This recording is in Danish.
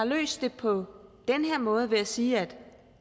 løst det på den her måde ved at sige at